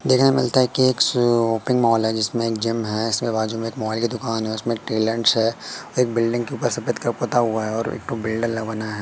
देखने मिलता है कि एक शॉपिंग मॉल है जिसमें जिम है इसके बाजू में एक मोबाइल की दुकान है उसमें टैलेंट्स एक बिल्डिंग के ऊपर सफेद का पोता हुआ है और वेल्डर लगावाना है।